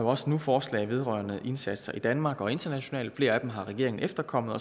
også nu forslag vedrørende indsatser i danmark og internationalt flere af dem har regeringen efterkommet